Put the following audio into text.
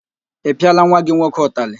Ị pịala nwa gị nwoke utalị?